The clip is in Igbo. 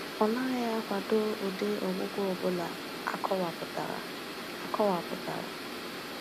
Ọ naghị akwado ụdị ọgwụgwọ ọ bụla akọwapụtara. akọwapụtara.